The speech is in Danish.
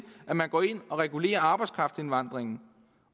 at man går ind og regulerer arbejdskraftindvandringen